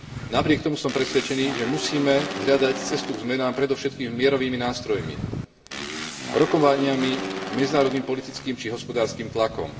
Napriek tomu som presvedčený, že musíme hľadať cestu k zmenám predovšetkým mierovými nástrojmi rokovaniami, medzinárodným politickým či hospodárskym tlakom.